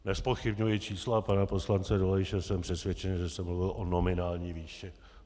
Nezpochybňuji čísla pana poslance Dolejše, jsem přesvědčen, že jsem mluvil o nominální výši.